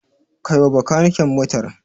Kai wa Bakanike motar.